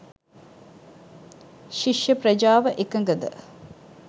ශිෂ්‍ය ප්‍රජාව එකඟද?